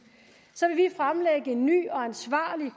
vil en ny og ansvarlig